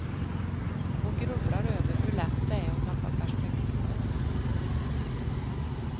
Och grubblar över hur lätt det är att tappa perspektivet.